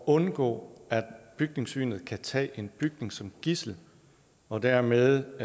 undgå at bygningssynet kan tage en bygning som gidsel og dermed